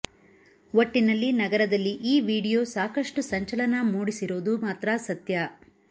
ಒಟ್ಟಿನಲ್ಲಿ ನಗರದಲ್ಲಿ ಈ ವಿಡಿಯೋ ಸಾಕಷ್ಟು ಸಂಚಲನ ಮೂಡಿಸಿರೋದು ಮಾತ್ರ ಸತ್ಯ